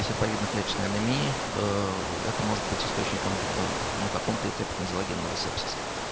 и серповидноклеточной анемии это может быть источником на каком то этапе тонзиллогенного сепсиса